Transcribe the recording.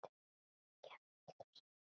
Ég mun alltaf sakna þín.